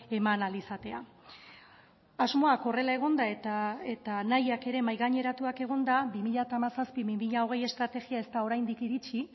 eman ahal izatea asmoak horrela egonda eta nahiak ere mahaigaineratuak egonda bi mila hamazazpi bi mila hogei estrategia ez da oraindik iritsi